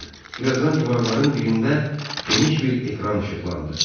Bir azdan divarların birində geniş bir ekran işıqlandı.